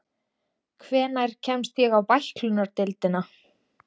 Hvenær kemst ég á bæklunardeildina?